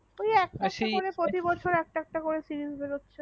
আর সেই একটা একটা প্রতি বছর একটা একটা series বেরোচ্ছে